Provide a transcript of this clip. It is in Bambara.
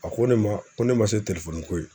A ko ne ma ko ne ma se telefɔni ko ye.